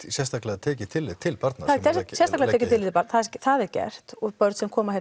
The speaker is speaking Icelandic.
sérstaklega gert tillit til barna það er sérstaklega gert tillit til barna það er gert og börn sem koma